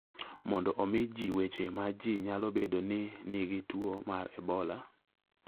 mondo omi ji weche ma ji nyalo bedo ni nigi tuo mar Ebola.